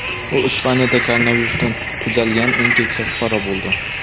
U Ispaniyada koronavirusdan tuzalgan eng keksa fuqaro bo‘ldi.